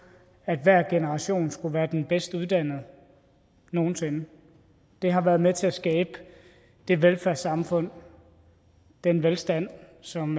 at hver generation skulle være den bedst uddannede nogen sinde har været med til at skabe det velfærdssamfund og den velstand som